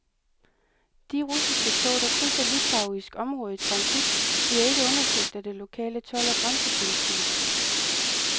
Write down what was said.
De russiske tog, der krydser litauisk område i transit, bliver ikke undersøgt af det lokale told og grænsepoliti.